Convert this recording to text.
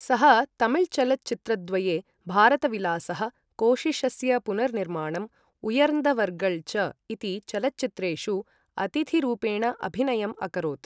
सः तमिलचलच्चित्रद्वये, भारतविलासः, कोशिशस्य पुनर्निर्माणं उयर्न्धवर्गळ् च इति चलच्चित्रेषु अतिथिरूपेण अभिनयम् अकरोत् ।